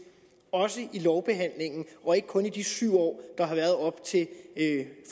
også i lovbehandlingen og ikke kun i de syv år